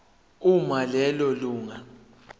uma lelo lunga